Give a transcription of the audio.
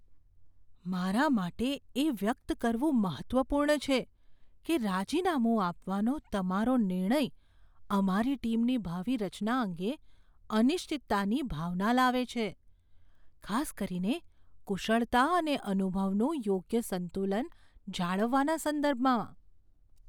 મારા માટે એ વ્યક્ત કરવું મહત્વપૂર્ણ છે કે રાજીનામું આપવાનો તમારો નિર્ણય અમારી ટીમની ભાવિ રચના અંગે અનિશ્ચિતતાની ભાવના લાવે છે, ખાસ કરીને કુશળતા અને અનુભવનું યોગ્ય સંતુલન જાળવવાના સંદર્ભમાં.